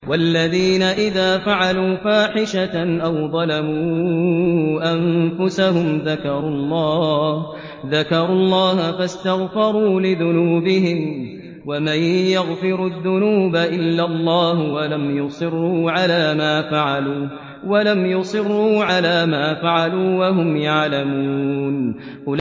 وَالَّذِينَ إِذَا فَعَلُوا فَاحِشَةً أَوْ ظَلَمُوا أَنفُسَهُمْ ذَكَرُوا اللَّهَ فَاسْتَغْفَرُوا لِذُنُوبِهِمْ وَمَن يَغْفِرُ الذُّنُوبَ إِلَّا اللَّهُ وَلَمْ يُصِرُّوا عَلَىٰ مَا فَعَلُوا وَهُمْ يَعْلَمُونَ